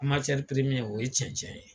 o ye cɛncɛn ye.